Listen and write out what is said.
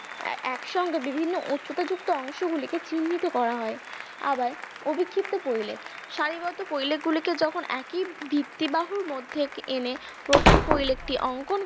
একসঙ্গে বিভিন্ন উচ্চতা যুক্ত অংশগুলিকে চিহ্নিত করা হয় আবার অবিক্ষিপ্ত পরিলেখ সারিবদ্ধ পরিলেখ গুলিকে যখন একই ভিত্তিবাহুর এনে প্রথম পরিলেখটি অংকন